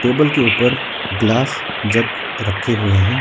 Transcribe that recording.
Table के ऊपर glass jug रखे हुए हैं।